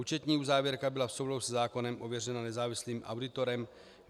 Účetní závěrka byla v souladu se zákonem ověřena nezávislým auditorem.